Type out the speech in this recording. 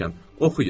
Oxuyun.